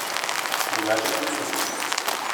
Drugače pa ne vem.